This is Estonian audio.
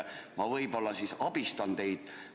Ma võib-olla abistan teid.